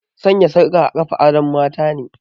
Sanya sarka a kafa adon matane